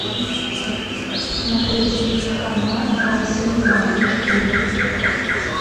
смотреть канал россия двадцать четыре